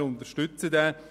Wir unterstützen diesen.